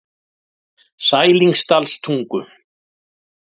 Sælingsdalstungu